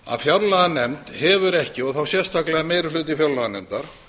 að fjárlaganefnd hefur ekki og þá sérstaklega meiri hluti fjárlaganefndar